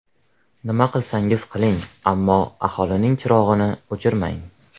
Nima qilsangiz qiling, ammo aholining chirog‘ini o‘chirmang.